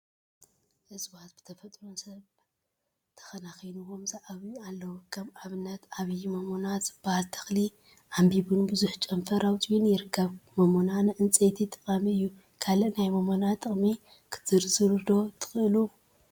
እፅዋት እፅዋት ብተፈጥሮን ሰብ ተከናኪኒዎምን ዝዓብዩ አለው፡፡ ከም አብነት ዓብይ ሞሞና ዝብሃል ተክሊ ዓምቢቡን ቡዙሕ ጨንፈር አውፅኡን ይርከብ፡፡ ሞሞና ንፅንፀይቲ ጠቃሚ እዩ፡፡ ካሊእ ናይ ሞሞና ጥቅሚ ክትዝርዝሩ ዶ ትክእሉ?